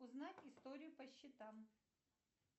узнать историю по счетам